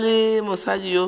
na le mosadi yo a